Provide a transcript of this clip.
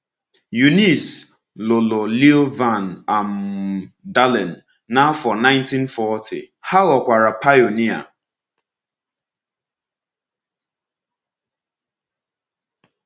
Eunice lụrụ Leo Van um Daalen n’afọ 1940, ha ghọkwara pionia.